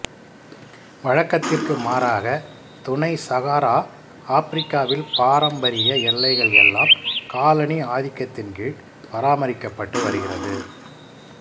வழக்கத்திற்கு மாறாக துணை சகாரா ஆப்பிரிக்காவில் பாரம்பரிய எல்லைகள் எல்லாம் காலனி ஆதிக்கத்தின் கீழ் பராமரிக்கப் பட்டு வருகிறது